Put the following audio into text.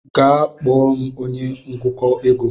Gaa kpọọ m onye ngụkọ ego.